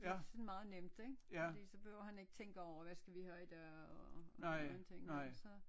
Det sådan meget nemt ikke fordi så behøver han ikke tænke over hvad skal vi have i dag og og nogen ting ikke så